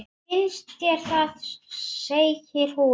Finnst þér það, segir hún.